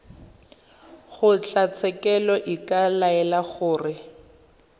kgotlatshekelo e ka laela gore